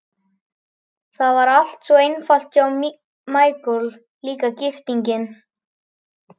Það var allt svo einfalt hjá Michael, líka gifting.